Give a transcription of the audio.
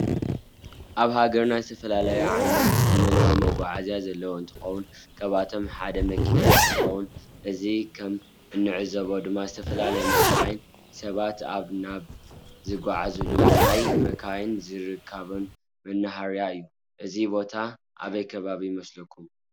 አብ ሃገርና ዝተፈላለዩ ዓይነት ዘመናዊ መጋዓዝያ ዘለዎ እንተኮን ካብአቶም ሓደ መኪና እንትኮን እዚ ከም እንዕዘቦ ድማ ዝተፈላለዩ መካይን ሰባት ካብ ናብ ዝጋዓዓዙሉ ናይ መካይን ዝርከባሉ መናህርያ እዩ። እዚ ቦታ አበይ ከባቢ ይመስለኩም?